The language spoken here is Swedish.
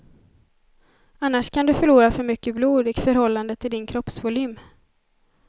Annars kan du förlora för mycket blod i förhållande till din kroppsvolym.